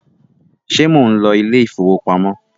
ṣe món ló Ilé ìfowópamọ́?